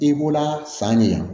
I bɔra san de la